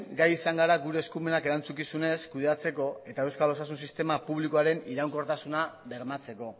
gai izan gara gure eskumenak erantzukizunez kudeatzeko eta euskal osasun sistema publikoaren iraunkortasuna bermatzeko